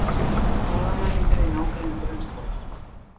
Hraðamælingar í nágrenni grunnskóla